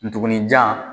Ndugun jan